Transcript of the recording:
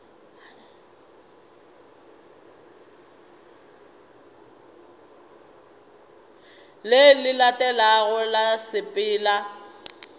le le latelago ra sepela